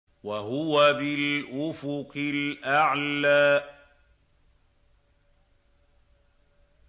وَهُوَ بِالْأُفُقِ الْأَعْلَىٰ